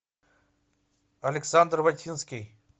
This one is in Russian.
александр ватинский